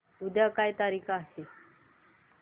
उद्या काय तारीख आहे